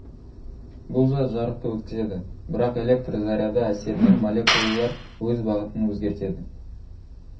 бұл зат жарықты өткізеді бірақ электр заряды әсерінен молекулалар өз бағытын өзгертеді